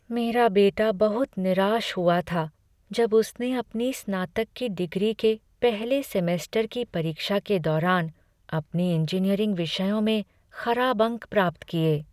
मेरा बेटा बहुत निराश हुआ था जब उसने अपनी स्नातक की डिग्री के पहले सेमेस्टर की परीक्षा के दौरान अपने इंजीनियरिंग विषयों में खराब अंक प्राप्त किए।